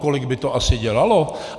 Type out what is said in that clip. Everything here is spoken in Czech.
Kolik by to asi dělalo?